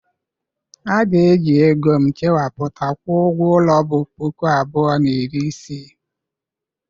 A ga-eji ego m chekwapụta kwụọ ụgwọ ulo bu puku abụọ na iri isii.